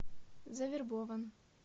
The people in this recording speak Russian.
завербован